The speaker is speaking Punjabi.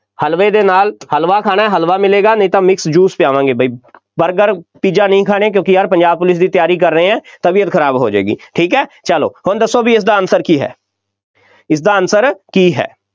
ਹਲਵੇ ਦੇ ਨਾਲ, ਹਲਵਾ ਖਾਣਾ, ਹਲਵਾ ਮਿਲੇਗਾ ਨਹੀਂ ਤਾਂ mix juice ਪਿਆਵਾਂਗੇ ਬਈ, ਬਰਗਰ, ਪੀਜ਼ਾ ਨਹੀਂ ਖਾਣੇ ਕਿਉਂਕਿ ਯਾਰ ਪੰਜਾਬ ਪੁਲਿਸ ਦੀ ਤਿਆਰੀ ਕਰ ਰਹੇ ਹਾਂ, ਤਬੀਅਤ ਖਰਾਬ ਹੋ ਜਾਏਗੀ, ਠੀਕ ਹੈ ਚੱਲੋ ਹੁਣ ਦੱਸੋ ਬਈ ਇਸਦਾ answer ਕੀ ਹੈ, ਇਸਦਾ answer ਕੀ ਹੈ,